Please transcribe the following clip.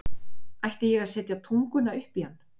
Átti ég að setja tunguna upp í hann?